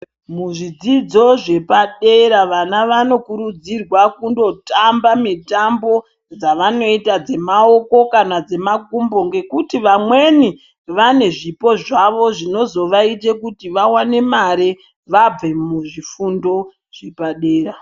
Muzvidzidzo zvepadera vana vanokurudzirwa kundotamba mitambo dzavanoita dzemaoko kana dzemakumbo. Ngekuti vamweni vane zvipo zvavo zvinozovaite kuti vawane mare vabve muzvi zvepadera.